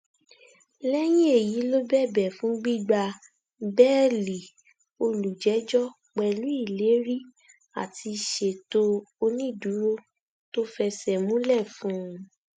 lẹyìn èyí ló bẹbẹ fún gbígbà bẹẹlí olùjẹjọ pẹlú ìlérí àti ṣètò onídùúró tó fẹsẹ múlẹ fún un